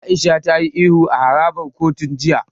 Aisha ta yi ihu a harabar kotun jiya.